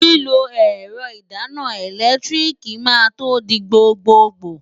Lílo ẹ̀rọ ìdáná ẹ̀lẹ́tíríìkì máa to di gbgbogbò.